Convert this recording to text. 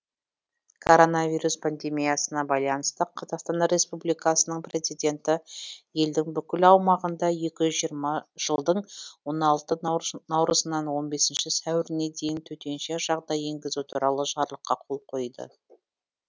коронавирус пандемиясына байланысты қазақстан республикасының президенті елдің бүкіл аумағында екі жүз жиырма жылдың он алты наурызынан он бесінші сәуіріне дейін төтенше жағдай енгізу туралы жарлыққа қол қойды